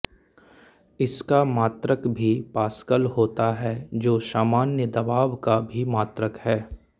इसका मात्रक भी पास्कल होता है जो सामान्य दबाव का भी मात्रक है